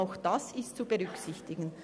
Auch dies ist zu berücksichtigen.